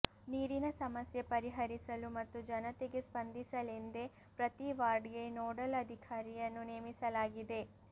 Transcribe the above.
ನೀರಿನ ಸಮಸ್ಯೆ ಪರಿಹರಿಸಲು ಮತ್ತು ಜನತೆಗೆ ಸ್ಪಂದಿಸಲೆಂದೇ ಪ್ರತಿ ವಾರ್ಡ್ಗೆ ನೋಡಲ್ ಅಧಿಕಾರಿಯನ್ನು ನೇಮಿಸಲಾಗಿದೆ